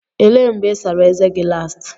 Elee mgbe ị sara ezé gị last?